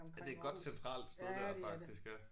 Ja det et godt centralt sted dér faktisk ja